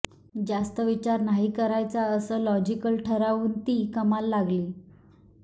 जास्त विचार नाही करायचा असं लॉजिकल ठरऊन ती कमाल लागली